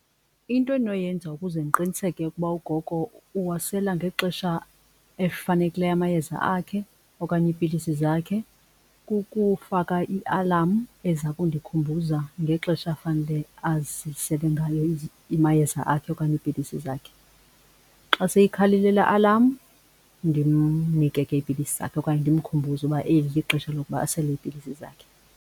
Into endinoyenza ukuze ndiqiniseke ukuba ugogo uwasela ngexesha elifanekileyo amayeza akhe okanye iipilisi zakhe kukufaka i-alarm eza kundikhuthaza ngexesha afanele azisele ngayo amayeza akhe okanye iipilisi zakhe. Xa seyikhalile laa alarm ndimnike ke iipilisi zakhe okanye ndimkhumbuze ukuba eli lixesha lokuba asele iipilisi zakhe.